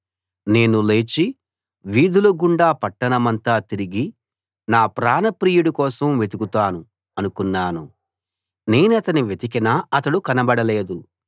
నేను లేచి వీధుల గుండా పట్టణమంతా తిరిగి నా ప్రాణప్రియుడి కోసం వెతుకుతాను అనుకున్నాను నేనతన్ని వెతికినా అతడు కనబడలేదు